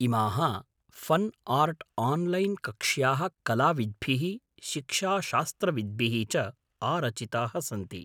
इमाः फ़न् आर्ट्आन्लैन्कक्ष्याः कलाविद्भिः शिक्षाशास्त्रविद्भिः च आरचिताः सन्ति।